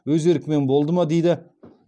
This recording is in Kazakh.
өз еркімен болды ма дейді